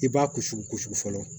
I b'a ku sukusu fɔlɔ